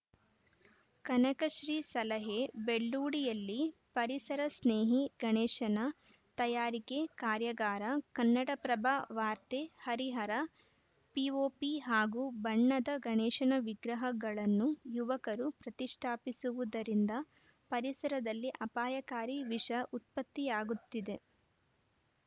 ಕನಕಶ್ರೀ ಸಲಹೆ ಬೆಳ್ಳೂಡಿಯಲ್ಲಿ ಪರಿಸರ ಸ್ನೇಹಿ ಗಣೇಶನ ತಯಾರಿಕೆ ಕಾರ್ಯಾಗಾರ ಕನ್ನಡಪ್ರಭ ವಾರ್ತೆ ಹರಿಹರ ಪಿಓಪಿ ಹಾಗೂ ಬಣ್ಣದ ಗಣೇಶನ ವಿಗ್ರಹಗಳನ್ನು ಯುವಕರು ಪ್ರತಿಷ್ಠಾಪಿಸುವುದರಿಂದ ಪರಿಸರದಲ್ಲಿ ಅಪಾಯಕಾರಿ ವಿಷ ಉತ್ಪತ್ತಿಯಾಗುತ್ತಿದೆ